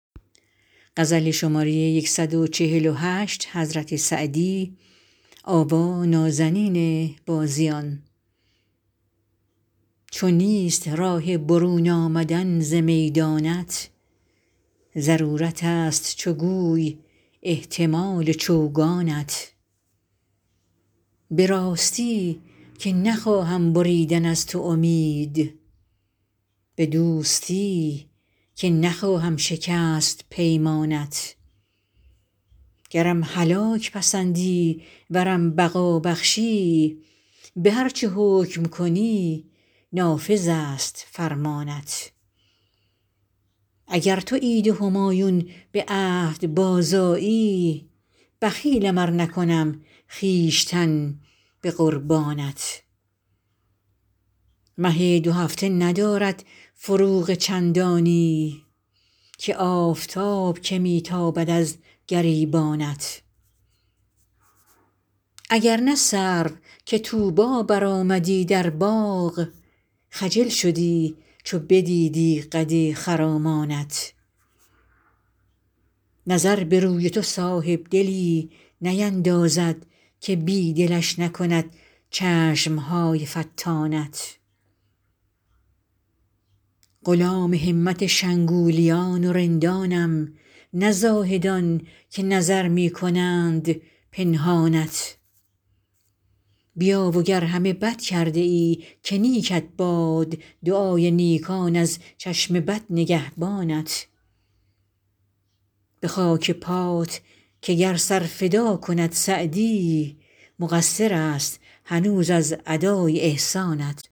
چو نیست راه برون آمدن ز میدانت ضرورتست چو گوی احتمال چوگانت به راستی که نخواهم بریدن از تو امید به دوستی که نخواهم شکست پیمانت گرم هلاک پسندی ورم بقا بخشی به هر چه حکم کنی نافذست فرمانت اگر تو عید همایون به عهد بازآیی بخیلم ار نکنم خویشتن به قربانت مه دوهفته ندارد فروغ چندانی که آفتاب که می تابد از گریبانت اگر نه سرو که طوبی برآمدی در باغ خجل شدی چو بدیدی قد خرامانت نظر به روی تو صاحبدلی نیندازد که بی دلش نکند چشم های فتانت غلام همت شنگولیان و رندانم نه زاهدان که نظر می کنند پنهانت بیا و گر همه بد کرده ای که نیکت باد دعای نیکان از چشم بد نگهبانت به خاک پات که گر سر فدا کند سعدی مقصرست هنوز از ادای احسانت